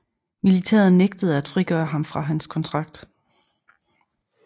Militæret nægtede at frigøre ham fra hans kontrakt